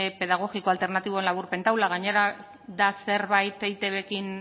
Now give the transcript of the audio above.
pedagogiko alternatiboen laburpen taula gainera da zerbait eitbrekin